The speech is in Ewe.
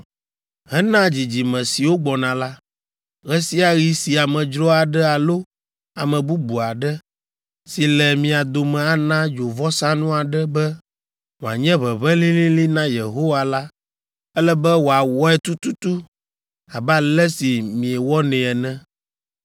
Hena dzidzime siwo gbɔna la, ɣe sia ɣi si amedzro aɖe alo ame bubu aɖe, si le mia dome ana dzovɔsanu aɖe be wòanye ʋeʋẽ lĩlĩlĩ na Yehowa la, ele be wòawɔe tututu abe ale si miewɔnɛ ene.